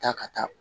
Taa ka taa